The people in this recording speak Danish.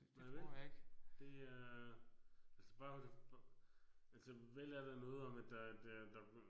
Nej vel? Det er altså bare altså vel er der noget om at der det der